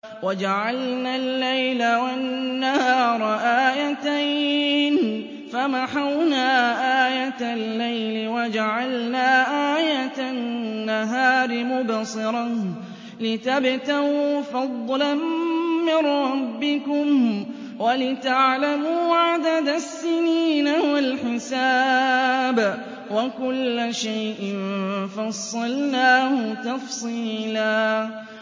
وَجَعَلْنَا اللَّيْلَ وَالنَّهَارَ آيَتَيْنِ ۖ فَمَحَوْنَا آيَةَ اللَّيْلِ وَجَعَلْنَا آيَةَ النَّهَارِ مُبْصِرَةً لِّتَبْتَغُوا فَضْلًا مِّن رَّبِّكُمْ وَلِتَعْلَمُوا عَدَدَ السِّنِينَ وَالْحِسَابَ ۚ وَكُلَّ شَيْءٍ فَصَّلْنَاهُ تَفْصِيلًا